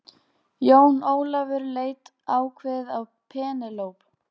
Jón Ólafur leit ákveðið á Penélope.